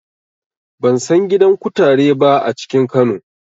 Ban san gidan kutare ba a cikin Kano.